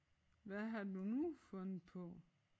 Hvad har du nu fundet på?